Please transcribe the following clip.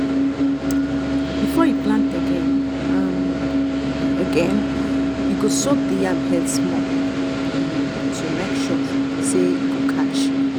efore e plant again um e again um e go um soak the yam head small um to make sure say e go catch.